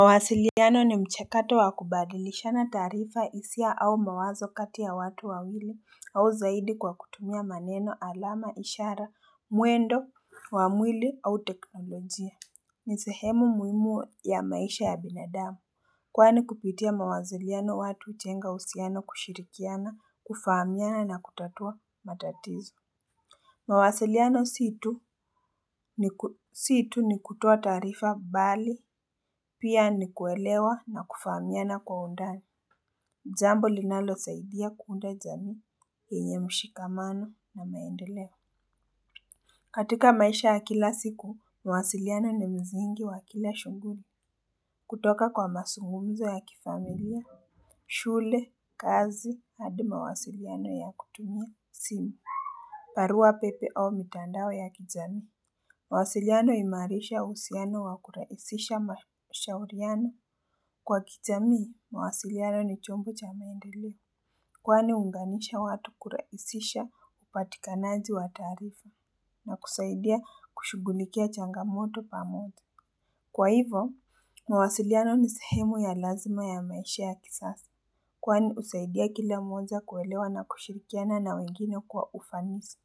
Mawasiliano ni mchakato wakubadilishana taarifa hisia au mawazo kati ya watu wawili au zaidi kwa kutumia maneno alama ishara mwendo wa mwili au teknolojia ni sehemu muhimu ya maisha ya binadamu Kwani kupitia mawasiliano watu hujenga uhusiano kushirikiana kufaamiana na kutatua matatizo mawasiliano si tu nikutoa taarifa bali, pia ni kuelewa nakufaamiana kwa undani. Jambo linalosaidia kuunda jamii, yenye mshikamano na maendeleo. Katika maisha ya kila siku, mawasiliano ni msingi wa kila shughuli. Kutoka kwa mazungumzo ya kifamilia, shule, kazi, hadi mawasiliano ya kutumia, simu. Barua pepe au mitandao ya kijamii. Mawasiliano huimarisha uhusiano wakurahisisha mashauriano. Kwa kijamii, mawasiliano ni chombo cha maendeleo. Kwani huunganisha watu kurahisisha upatikanaji wa taarifa na kusaidia kushughulikia changamoto pamoja. Kwa hivo, mawasiliano ni sehemu ya lazima ya maisha ya kisasa. Kwani husaidia kila mmoja kuelewa na kushirikiana na wengine kwa ufanisi.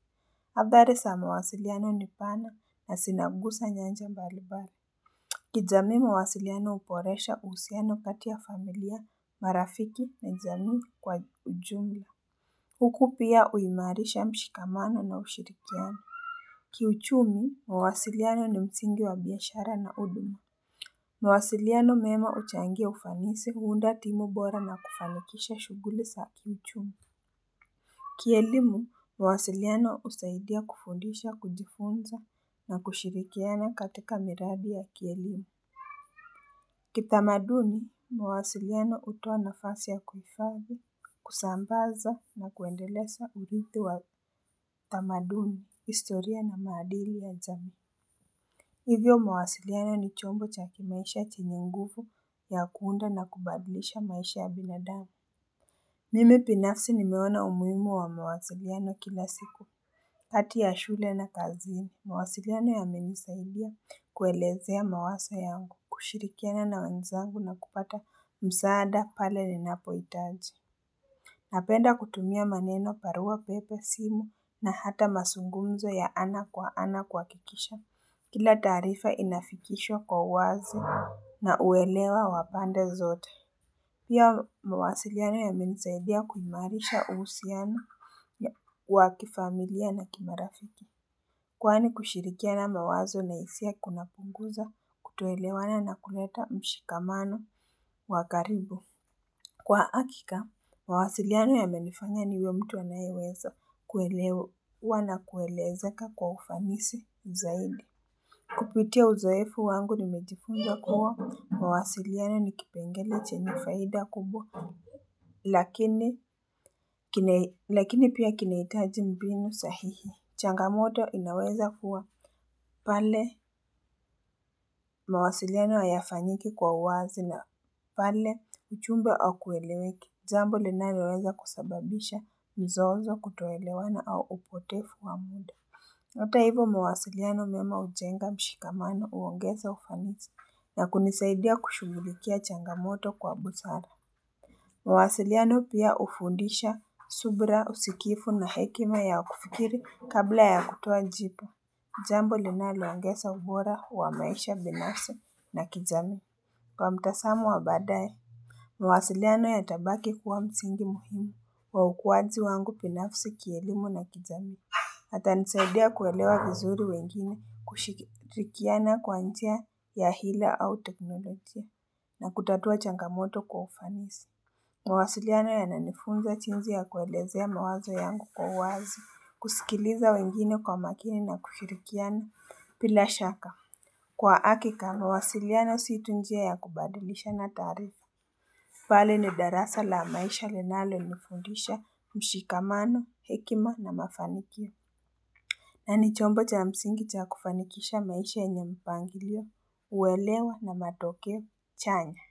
Habari za mawasiliano ni pana na zinaguza nyanja mbalimbali kijamii mawasiliano huboresha uhusiano kati ya familia marafiki na jamii kwa ujumla Huku pia uhimarisha mshikamano na ushirikiano Kiuchumi mawasiliano ni msingi wa biashara na huduma mawasiliano mema huchangia ufanisi huunda timu bora na kufanikisha shughuli za kiuchumi Kielimu mawasiliano husaidia kufundisha kujifunza na kushirikiana katika miradi ya kielimu Kitamaduni, mawasiliano hutoa nafasi ya kuhifadhi, kusambaza na kuendeleza uridhi wa tamaduni, historia na maadili ya jamii Hivyo mawasiliano ni chombo cha kimaisha chenye nguvu ya kuunda na kubadilisha maisha ya binadamu Mimi binafsi nimeona umuhimu wa mawasiliano kila siku kati ya shule na kazini, mawasiliano yamenisaidia kuelezea mawazo yangu, kushirikiana na wenzangu na kupata msaada pale ninapohitaji. Napenda kutumia maneno barua pepe simu na hata mazungumzo ya ana kwa ana kuhakikisha. Kila taarifa inafikishwa kwa uwazi na uelewa wa pande zote. Pia mawasiliano yamenisaidia kuimarisha uhusiano wa kifamilia na kimarafiki. Kwani kushirikiana mawazo na hisia kuna punguza kutoelewana na kuleta mshikamano wa karibu. Kwa hakika, mawasiliano yamenifanya niwe mtu anayeweza kuelewa na kuelezeka kwa ufanisi zaidi. Kupitia uzoefu wangu nimejifunza kuwa mawasiliano nikipengele chenye faida kubwa lakini pia kinahitaji mbinu sahihi. Changamoto inaweza kuwa pale mawasiliano haayafanyiki kwa uwazi na pale ujumbe au kueleweki. Jambo linaloweza kusababisha mzozo kutoelewana au upotevu wa muda. Hata hivo mawasiliano mema hujenga mshikamano huongeza ufanisi na kunisaidia kushughulikia changamoto kwa busara. Mawasiliano pia hufundisha subira usikiivu na hekima ya kufikiri kabla ya kutoa jibu. Jambo linaloongeza ubora wa maisha binafsi na kijamii kwa mtazamo wa baadaye. Mawasiliano yatabaki kuwa msingi muhimu wa ukuwaji wangu binafsi kielimu na kijamii. Yatanisaidia kuelewa vizuri wengine kushikirikiana kwa njia ya hila au teknolojia na kutatua changamoto kwa ufanisi. Mawasiliano yananifunza jinsi ya kuelezea mawazo yangu kwa uwazi, kusikiliza wengine kwa makini na kushikirikiana bila shaka. Kwa hakika, mawasiliano si tu njia ya kubadilisha na taarifa. Bali ni darasa la maisha linalonifundisha mshikamano, hekima na mafanikio. Na ni chombo cha msingi cha kufanikisha maisha yenye mpangilio, uwelewa na matokeo chanya.